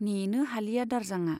नेनो हालिया दारजांआ।